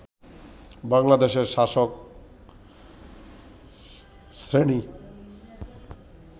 বাংলাদেশের শাসক শ্রেণি